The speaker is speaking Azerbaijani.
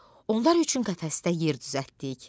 Onlar üçün qəfəsdə yer düzəltdik.